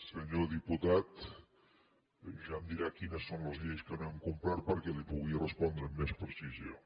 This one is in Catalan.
senyor diputat ja em dirà quines són les lleis que no hem complert perquè li pugui respondre amb més precisió